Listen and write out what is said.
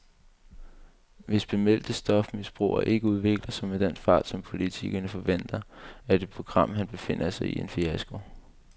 Hvis bemeldte stofmisbrugere ikke udvikler sig med den fart, som politikerne forventer, er det program, han befinder sig i, en fiasko.